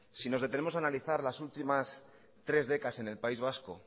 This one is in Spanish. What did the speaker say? si nos detenemos a analizar las últimas tres décadas en el país vasco